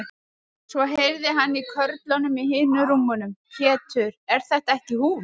Svo heyrði hann í körlunum í hinum rúmunum: Pétur, er þetta ekki hún.